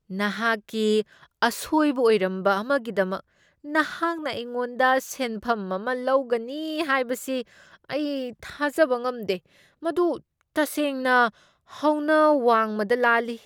ꯅꯍꯥꯛꯀꯤ ꯑꯁꯣꯏꯕ ꯑꯣꯏꯔꯝꯕ ꯑꯃꯒꯤꯗꯃꯛ ꯅꯍꯥꯛꯅ ꯑꯩꯉꯣꯟꯗ ꯁꯦꯟꯐꯝ ꯑꯃ ꯂꯧꯒꯅꯤ ꯍꯥꯏꯕꯁꯤ ꯑꯩ ꯊꯥꯖꯕ ꯉꯝꯗꯦ꯫ ꯃꯗꯨ ꯇꯁꯦꯡꯅ ꯍꯧꯅ ꯋꯥꯡꯃꯗ ꯂꯥꯜꯂꯤ꯫